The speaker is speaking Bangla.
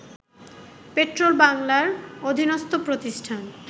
পেট্রোবাংলার অধীনস্ত প্রতিষ্ঠান